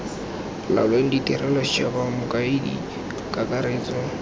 laolang tirelo setšhaba mokaedi kakaretso